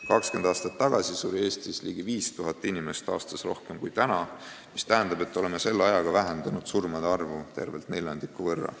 20 aastat tagasi suri Eestis ligi 5000 inimest aastas rohkem kui praegu, mis tähendab, et oleme selle ajaga vähendanud surmade arvu tervelt neljandiku võrra.